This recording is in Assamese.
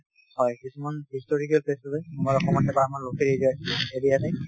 হয় কিছুমান historical place আছে